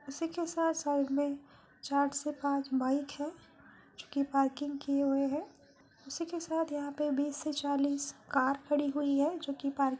उसी के साथ साइड में चार से पाँच बाइक है जो की पार्किंग किये हुए हैं| उसी के साथ यहाँ पे बीस से चालीस कार खड़ी हुई है जोकी पार्किंग --